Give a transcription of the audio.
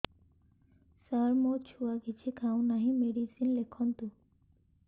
ସାର ମୋ ଛୁଆ କିଛି ଖାଉ ନାହିଁ ମେଡିସିନ ଲେଖନ୍ତୁ